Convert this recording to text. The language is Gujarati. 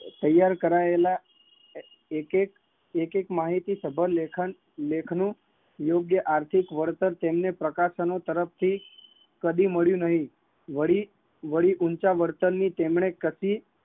તૈયાર કરાયેલા એક એકે લેખન લેખ નું જે આર્થિક વરતાલ પ્રકાશનો તરફ થી કદી મળિયું નહીં